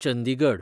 Chandigarh